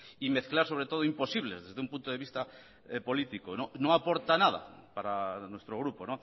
y mezclar sobre todo imposibles desde un punto de vista político no aporta nada para nuestro grupo